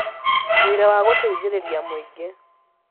Wĩra wa gũteithĩrĩria mũingĩ